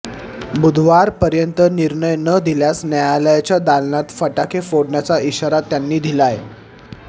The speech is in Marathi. बुधवारपर्यंत निर्णय न दिल्यास न्यायालयाच्या दालनात फटाके फोडण्याचा इशारा त्यांनी दिलाय